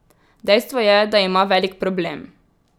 Dejstvo je, da ima velik problem.